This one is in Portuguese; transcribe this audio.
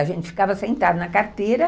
A gente ficava sentada na carteira.